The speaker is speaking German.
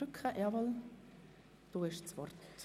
Ich erteile gerne Grossrat Bichsel das Wort.